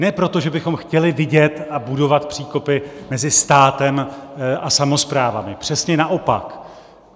Ne proto, že bychom chtěli vidět a budovat příkopy mezi státem a samosprávami, přesně naopak.